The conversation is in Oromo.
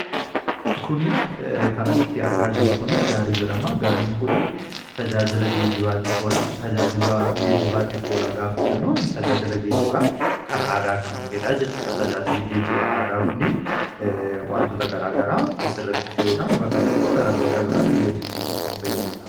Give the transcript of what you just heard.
kuni kanasitti argaa jirru kunii gaarii jedhama gaariin kunii tajaajila geeibafoa tajaajiba geejibaatii foola gaafa jennoon tajaajila geejibaa kan aadaa kan tahidaa jechuudha tajaajili geejibaa aadaa kunii wantoota garaa garaa asi irratti fe’uudhaan bakka tokko gara bakka biraatti geejibsiisuuf kan fayyaduudha